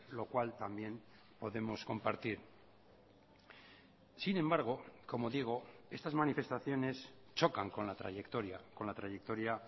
lo cual también podemos compartir sin embargo como digo estas manifestaciones chocan con la trayectoria con la trayectoria